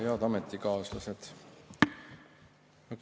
Head ametikaaslased!